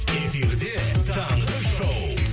эфирде таңғы шоу